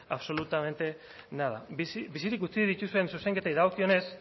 absolutamente nada bizirik utzi dituzuen zuzenketei dagokionez